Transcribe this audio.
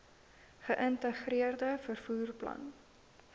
geïntegreerde vervoer plan